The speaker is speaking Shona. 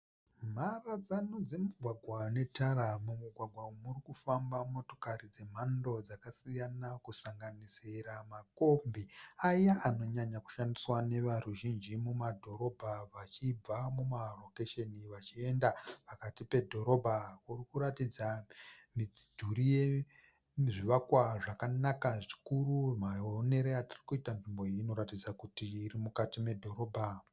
Mharadzano dzemigwagwa unetara. Mugwagwa umu murikufamba motokari dzemhando dzakasiyana dzinosanganisira makombi aya anonyanya kushandiswa neveruzhinji mumadhorobha vachibva mumarokesheni vachienda pakati pedhorobha. Murikuratidza midhuri yezvivakwa zvakanaka zvikuru maonero atirikuita nzvimbo iyi inoratidza kuti iri mukati medhorobha.